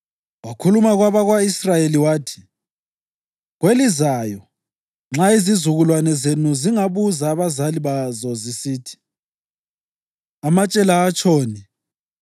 Wakhuluma kwabako-Israyeli wathi, “Kwelizayo nxa izizukulwane zenu zingabuza abazali bazo zisithi, ‘Amatshe la atshoni?’